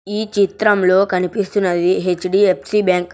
ఈ చిత్రం లో కనిపిస్తున్నది హెచ్_డి_ఎఫ్సి బ్యాంక్ .